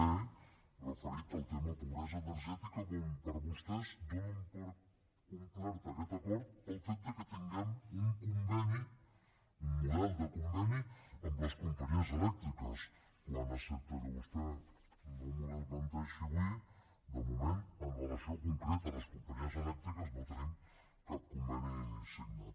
e referit al tema de pobresa energètica on vostès donen per complert aquest acord pel fet de que tinguem un conveni un model de conveni amb les companyies elèctriques quan excepte que vostè m’ho desmenteixi avui de moment amb relació concreta a les companyies elèctriques no tenim cap conveni signat